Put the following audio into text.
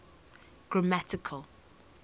grammatical